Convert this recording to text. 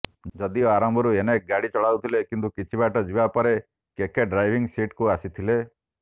ଯଦିଓ ଆରମ୍ଭରୁ ଏନ୍କେ ଗାଡ଼ି ଚଳାଉଥିଲେ କିନ୍ତୁ କିଛିବାଟ ଯିବା ପରେ କେକେ ଡ୍ରାଇଭିଂ ସିଟ୍କୁ ଆସିଥିଲେ